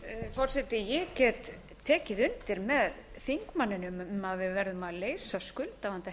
forseti ég get tekið undir með þingmanninum um að við verðum að leysa skuldavanda